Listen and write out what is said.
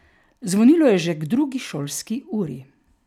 Zvonilo je že k drugi šolski uri.